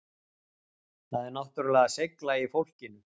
Það er náttúrulega seigla í fólkinu